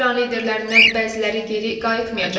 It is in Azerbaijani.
İran liderlərindən bəziləri geri qayıtmayacaq.